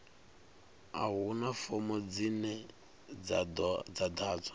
a huna fomo dzine dza ḓadzwa